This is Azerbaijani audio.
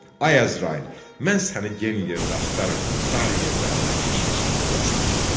Ay Əzrail, mən səni gen yerdə axtarırdım, dar yerdə əlimə keçmisən deyəsən.